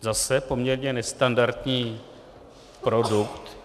Zase poměrně nestandardní produkt.